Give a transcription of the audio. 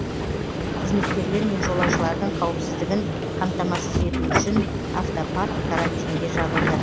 қызметкерлер мен жолаушылардың қауіпсіздігін қамтамасыз ету үшін автопарк карантинге жабылды